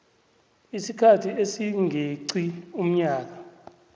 isikhathi esingeqi umnyaka